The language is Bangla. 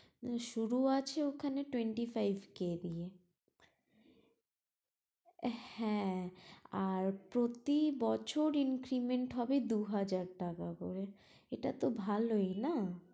শুরু আছে ওখানে twenty five k দিয়ে হ্যাঁ আর প্রতি বছর increment হবে দু হাজার টাকা করে, এটা তো ভালোই না